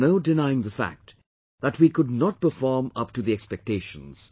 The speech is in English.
There is no denying the fact that we could not perform up to the expectations